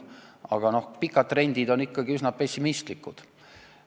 Aga pikad trendid on ikkagi üsna pessimistlikud.